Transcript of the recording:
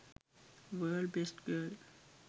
world best girl